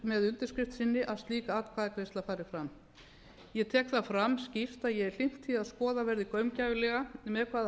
með undirskrift sinni að slík atkvæðagreiðsla fari fram ég tek það fram skýrt að ég er hlynnt því að skoðað verði gaumgæfilega með hvaða